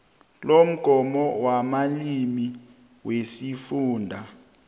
lomgomo wamalimi wesifunda